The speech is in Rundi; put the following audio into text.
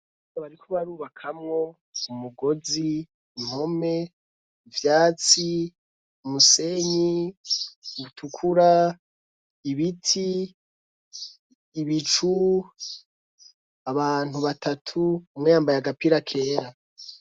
Bariko barubakamwo umugozi impome ivyatsi umusenyi utukura ibiti ibicu abantu batatu umweyambaye agapira kera.